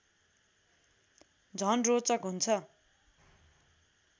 झन रोचक हुन्छ